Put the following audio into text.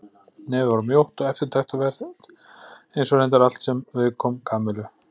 Nefið var mjótt og eftirtektarvert eins og reyndar allt sem viðkom Kamillu.